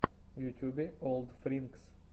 в ютюбе олдфринкс